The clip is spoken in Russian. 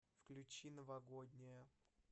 включи новогодняя